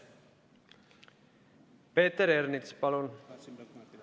Peeter Ernits, palun!